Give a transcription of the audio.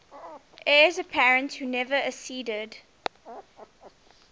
heirs apparent who never acceded